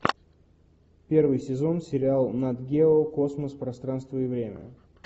первый сезон сериал нат гео космос пространство и время